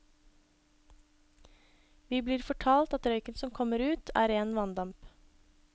Vi blir fortalt at røyken som kommer ut, er ren vanndamp.